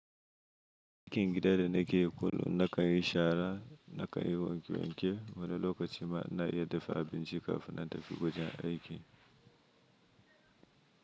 Aikin gida da na ke yi kullum na kan yi shara, na kan yi wanke wanke wani lokaci ma na iya dafa abinci kafin na tafi wajen aiki.